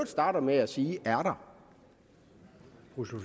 starter med at sige er